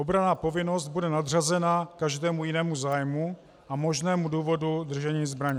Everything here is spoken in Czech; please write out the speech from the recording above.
Obranná povinnost bude nadřazena každému jinému zájmu a možnému důvodu držení zbraně.